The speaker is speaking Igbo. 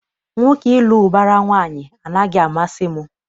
Nwoke ịlụ ụbara nwaanyị anaghị amasị m.